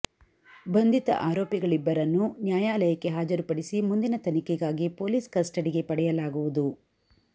ಬಂಧಿತ ಆರೋಪಿಗಳಿಬ್ಬರನ್ನೂ ನ್ಯಾಯಾಲಯಕ್ಕೆ ಹಾಜರುಪಡಿಸಿ ಮುಂದಿನ ತನಿಖೆಗಾಗಿ ಪೊಲೀಸ್ ಕಸ್ಟಡಿಗೆ ಪಡೆಯಲಾಗುವುದು